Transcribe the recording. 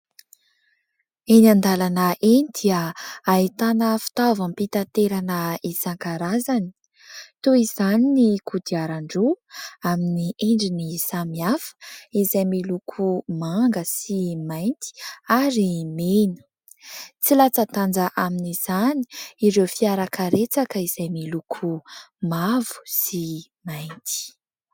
Eny an-dalana eny dia ahitana fitaovam-pitaterana isan-karazany. Toy izany ny kodiarandroa amin'ny endriny samihafa izay miloko manga sy mainty ary mena. Tsy latsa-danja amin'izany ireo fiarakaretsaka izay miloko mavo sy mainty.